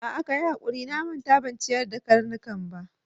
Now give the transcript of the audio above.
A'a, kayi hakuri, na manta ban ciyar da karnukan ba.